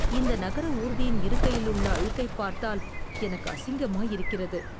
இந்த நகர ஊர்தியின் இருக்கையிலுள்ள அழுக்கைப் பார்த்தால் எனக்கு அசிங்கமாயிருக்கிறது